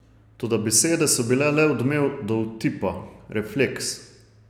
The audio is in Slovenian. Toda besede so bile le odmev dovtipa, refleks.